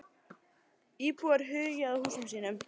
Íbúar hugi að húsum sínum